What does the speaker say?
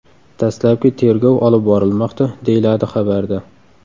Dastlabki tergov olib borilmoqda, deyiladi xabarda.